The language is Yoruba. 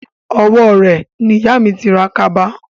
Owó rẹ̀ ni ìyà mi ti ra kaba